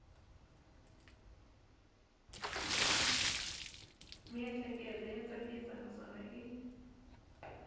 miehleketo ya tsakisa naswona i